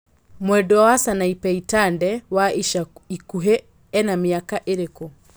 mwendwa wa Sanapei Tande wa ica ĩkuhĩ ena miaka ĩrĩkũ